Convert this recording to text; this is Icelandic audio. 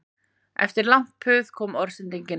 Eftir langt puð kom orðsending